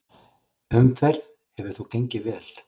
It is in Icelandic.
Umferð hefur þó gengið vel.